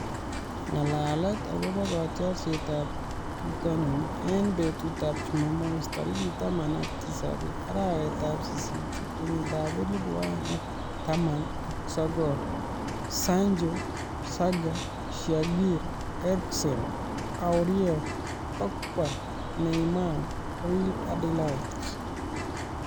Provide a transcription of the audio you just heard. Ng'alalet akobo kotiorsetab bitonin eng betutab Jumamos tarik taman ak tisab , arawetab sisit , kenyitab elebu oeng ak taman ak sokol:Sancho ,Zaha ,Shaqiri, Eriksen ,Aurier, Pogba, Neymar, Rene-Adelaide